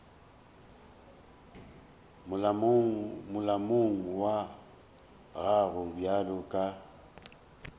molomong wa gago bjalo ka